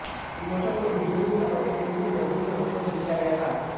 विमोचन को एक डीविडी और एक सीडी के रूप में उपलब्द किया गया था